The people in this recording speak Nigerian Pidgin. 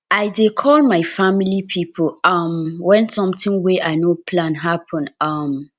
i dey call my family pipo um wen sometin wey i no plan happen um